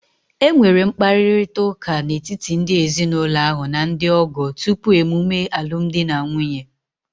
E nwere mkparịrịta ụka n'etiti ndị ezinụlọ ahụ na ndị ọgọ tupu emume alumdi na nwunye